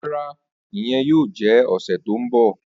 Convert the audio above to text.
Rara, iyẹn yoo jẹ ọsẹ ti n bọ.